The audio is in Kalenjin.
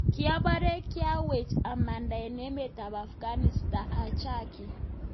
Kiapare kiawech amandaa en emet ap afghanistan achakii